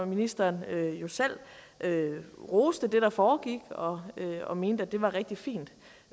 ministeren roste det der foregik og og mente at det var rigtig fint